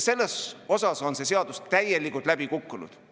Selles mõttes on see seadus täielikult läbi kukkunud.